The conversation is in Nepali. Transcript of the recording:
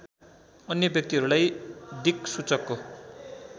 अन्य व्यक्तिहरूलाई दिक्सूचकको